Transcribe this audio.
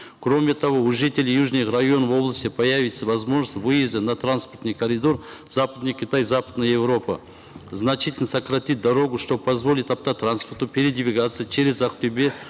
кроме того у жителей южных районов области появится возможность выезда на транспортный коридор западный китай западная европа значительно сократит дорогу что позволит автотранспорту передвигаться через актобе